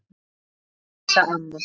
Kæra Elsa amma.